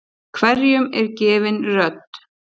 Hverjum er gefin rödd?